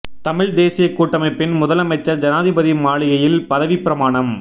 தமிழ்த் தேசியக் கூட்டமைப்பின் முதலமைச்சர் ஜனாதிபதி மாளிகையில் பதவிப் பிரமாணம்